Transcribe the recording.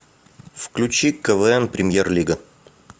включи квн премьер лига